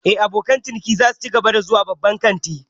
Eh, abokan ciniki za su cigaba da zuwa babban kantin